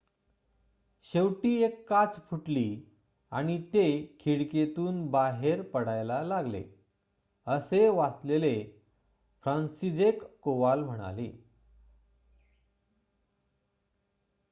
"""शेवटी १ काच फुटली आणि ते खिडकीतून बाहेर पडायला लागले," असे वाचलेले फ्रांसिजेक कोवाल म्हणाले.